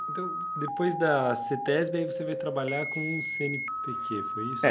Então, depois da cêtésbe, aí você foi trabalhar com o cêenepêquê, foi isso?